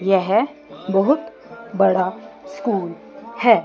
यह बहुत बड़ा स्कूल है।